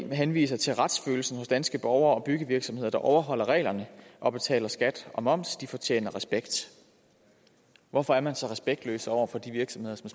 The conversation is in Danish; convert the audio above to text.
man henviser til retsfølelsen hos danske borgere og byggevirksomheder der overholder reglerne og betaler skat og moms de fortjener respekt hvorfor er man så respektløs over for de virksomheder som